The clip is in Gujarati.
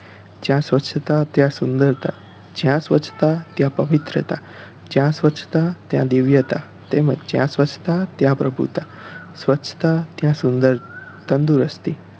જ્યાં સ્વચ્છતા ત્યાં સુંદરતા જ્યાં સ્વચ્છતા ત્યાં પવિત્રતા જ્યાં સ્વચ્છતા ત્યાં દિવ્યતા તેમજ જ્યાં સ્વચ્છતા ત્યાં પ્રભુતા સ્વચ્છતા ત્યાં સુંદર~તંદુરસ્તી